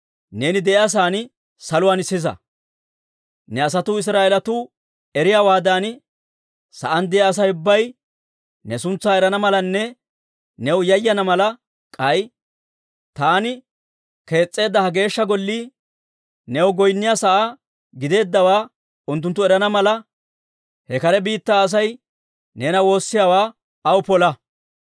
neeni de'iyaa sa'aan saluwaan sisa. Ne asatuu Israa'eelatuu eriyaawaadan, sa'aan de'iyaa Asay ubbay ne suntsaa erana malanne new yayana mala, k'ay taani kees's'eedda ha Geeshsha Gollii, new goynniyaa sa'aa giddeeddawaa unttunttu erana mala, he kare biittaa Asay neena woossiyaawaa aw pola.